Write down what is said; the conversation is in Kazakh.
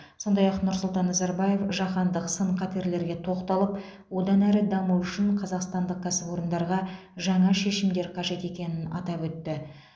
сондай ақ нұрсұлтан назарбаев жаһандық сын қатерлерге тоқталып одан әрі даму үшін қазақстандық кәсіпорындарға жаңа шешімдер қажет екенін атап өтті